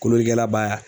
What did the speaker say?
Kolokɛla baa